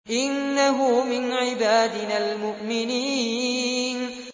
إِنَّهُ مِنْ عِبَادِنَا الْمُؤْمِنِينَ